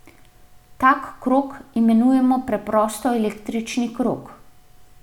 Tak krog imenujemo preprosto električni krog.